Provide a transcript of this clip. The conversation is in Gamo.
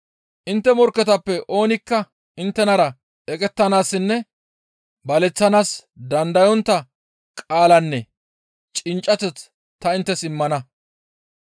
Intte morkketappe oonikka inttenara eqettanaassinne baleththanaas dandayontta qaalanne cinccateth ta inttes immana.